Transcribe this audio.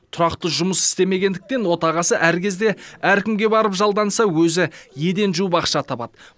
тұрақты жұмыс істемегендіктен отағасы әр кезде әркімге барып жалданса өзі еден жуып ақша табады